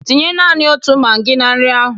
Tinye nani otu magị na nri ahụ!